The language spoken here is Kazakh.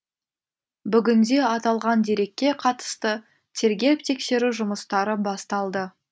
бүгінде аталған дерекке қатысты тергеп тексеру жұмыстары басталды